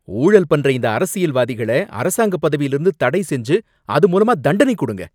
ஊழல் பண்ற இந்த அரசியல்வாதிங்கள அரசாங்கப் பதவியில இருந்து தடைசெஞ்சு அது மூலமா தண்டனை கொடுங்க.